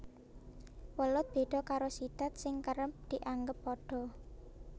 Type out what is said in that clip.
Welut béda karo sidat sing kerep dianggep padha